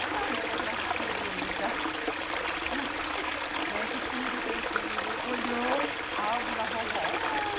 A minha mãe, aquela sujeita, né, que tudo é tranquilo, olhou a álbum da vovó ah.